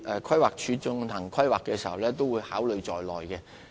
規劃署進行規劃時已經考慮這些已知的發展項目。